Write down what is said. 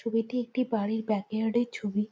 এটি একটি বাড়ির বাকেয়ার্ড এর ছবি।